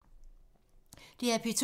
DR P2